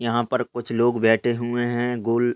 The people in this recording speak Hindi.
यहाँ पर कुछ लोग बैठे हुए हैं गोल--